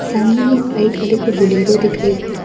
सामने में एक वाइट कलर के बोलेरो दिख रही है।